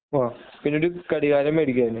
ആ പിന്നെ ഒരു ഘടികാരം മേടിക്കാം അവന്